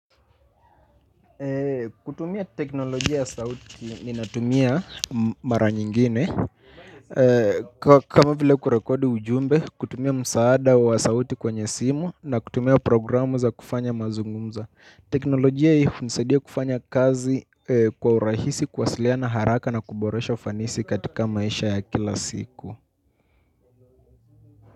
Kutumia teknolojia ya sauti ninatumia mara nyingine. Kama vile kurekodi ujumbe, kutumia msaada wa sauti kwenye simu na kutumia programu za kufanya mazungumzo. Teknolojia hii hunisadia kufanya kazi kwa urahisi kuwasiliana haraka na kuboresha ufanisi katika maisha ya kila siku.